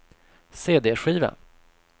cd-skiva